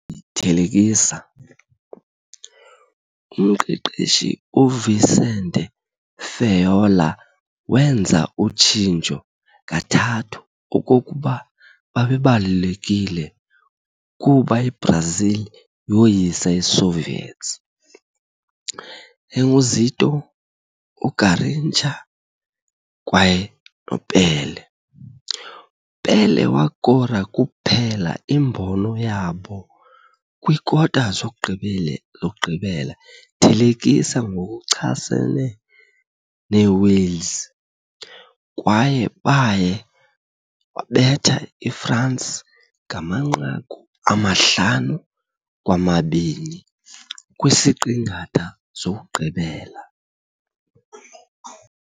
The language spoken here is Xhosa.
thelekisa, umqeqeshi Vicente Feola made ezintathu substitutions okokuba baba crucial kuba Brazil ukuba yoyisa Soviets- Zito, Garrincha kwaye Pelé. Pelé wakora kuphela imbono yabo kwikota-zokugqibela thelekisa ngokuchasene neWales, kwaye baya wabetha France ngamanqaku 5-2 kwisiqingatha sokugqibela.